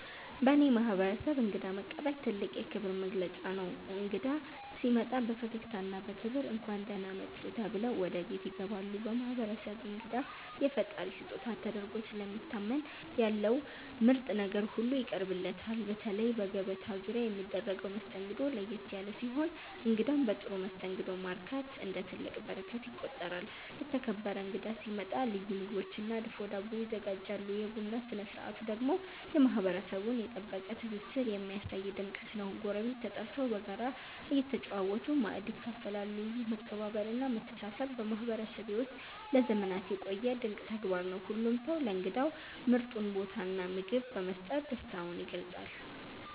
በእኔ ማህበረሰብ እንግዳ መቀበል ትልቅ የክብር መገለጫ ነው። እንግዳ ሲመጣ በፈገግታና በክብር “እንኳን ደህና መጡ” ተብሎ ወደ ቤት ያስገባሉ። በማህበረሰቤ እንግዳ የፈጣሪ ስጦታ ተደርጎ ስለሚታመን ያለው ምርጥ ነገር ሁሉ ይቀርብለታል። በተለይ በገበታ ዙሪያ የሚደረገው መስተንግዶ ለየት ያለ ሲሆን እንግዳን በጥሩ መስተንግዶ ማርካት እንደ ትልቅ በረከት ይቆጠራል። የተከበረ እንግዳ ሲመጣ ልዩ ምግቦችና ድፎ ዳቦ ይዘጋጃሉ። የቡና ስነ ስርዓቱ ደግሞ የማህበረሰቡን የጠበቀ ትስስር የሚያሳይ ድምቀት ነው፤ ጎረቤት ተጠርቶ በጋራ እየተጨዋወቱ ማእድ ይካፈላሉ። ይህ መከባበርና መተሳሰብ በማህበረሰቤ ውስጥ ለዘመናት የቆየ ድንቅ ተግባር ነው። ሁሉም ሰው ለእንግዳው ምርጡን ቦታና ምግብ በመስጠት ደስታውን ይገልጻል።